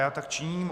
Já tak činím.